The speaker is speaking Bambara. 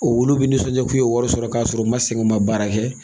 olu be nisɔndiya k'u ye wɔri sɔrɔ k'a sɔrɔ u ma sɛŋɛ, u ma baara kɛ?